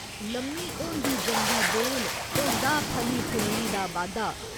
लम्मी होंदी जंदी बेल, होंदा फलें फुल्लें दा बाद्धा।